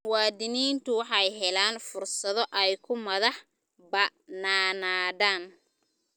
Muwaadiniintu waxay helaan fursado ay ku madax bannaanaadaan.